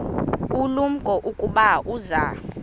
ulumko ukuba uza